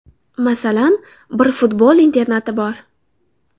Masalan, bir futbol internati bor.